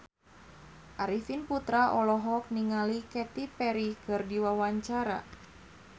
Arifin Putra olohok ningali Katy Perry keur diwawancara